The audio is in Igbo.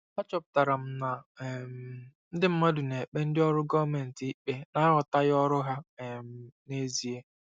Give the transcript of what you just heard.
Achọpụtara m na um ndị mmadụ na-ekpe ndị ọrụ gọọmentị ikpe n'aghọtaghị ọrụ ha um n'ezie.